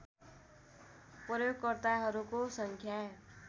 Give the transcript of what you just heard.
प्रयोगकर्ताहरूको सङ्ख्या